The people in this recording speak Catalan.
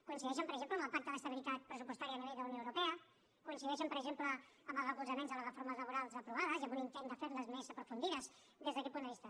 coincideixen per exemple en el pacte d’estabilitat pressupostària a nivell d’unió europea coincideixen per exemple en els recolzaments a les reformes laborals aprovades i en un intent de fer les més aprofundides des d’aquest punt de vista